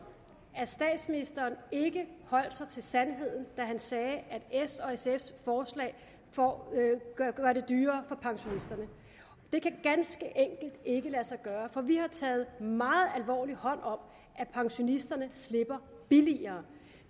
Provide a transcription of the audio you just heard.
at statsministeren ikke holdt sig til sandheden da han sagde at s og sfs forslag gør det dyrere for pensionisterne det kan ganske enkelt ikke lade sig gøre for vi har taget meget alvorligt hånd om at pensionisterne slipper billigere